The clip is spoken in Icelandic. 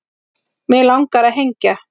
Mig langar að hengja